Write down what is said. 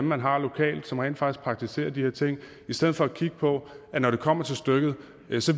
man har lokalt som rent faktisk praktiserer de her ting og i stedet for at kigge på at når det kommer til stykket